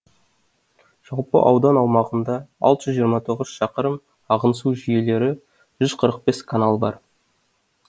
жалпы аудан аумағында алты жүз жиырма тоғыз шақырым ағын су жүйелері жүз қырық бес канал бар